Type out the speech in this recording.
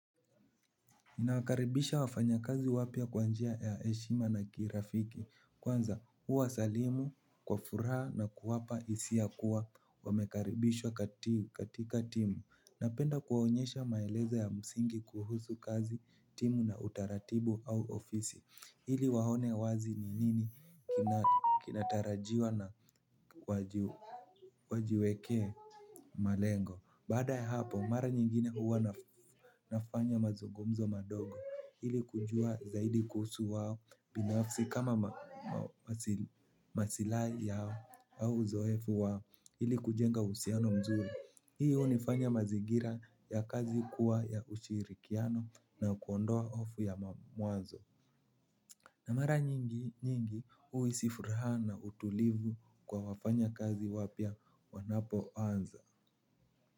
Nawakaribisha wafanya kazi wapia kwanjia ya heshima na kirafiki kwanza huwa salimu kwa furaha na kuwapa isiakuwa wamekaribishwa kati katika timu. Napenda kuwaonyesha maelezo ya msingi kuhusu kazi timu na utaratibu au ofisi hili waone wazi ni nini kina kinatarajiwa na wajiwekee malengo. Baada ya hapo, mara nyingine uwa nafanya mazungumzo madogo ili kujua zaidi kuhusu wao binafsi kama masilahi yao au uzoefu wao ili kujenga uhusiano mzuri. Hii unifanya mazingira ya kazi kuwa ya ushirikiano na kuondoa hofu ya mamwazo. Na mara nyingi uisi furaha na utulivu kwa wafanya kazi wapia wanapo anza.